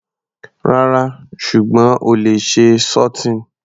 Rárá, ṣùgbọ́n o lè ṣe sauteing.